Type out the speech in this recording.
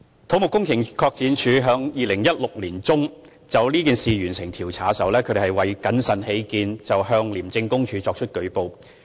土木工程拓展署在2016年年中就此事完成調查，為謹慎起見，當時向廉署作出舉報。